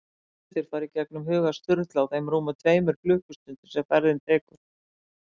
Ótal hlutir fara í gegnum huga Sturlu á þeim rúmu tveimur klukkustundum sem ferðin tekur.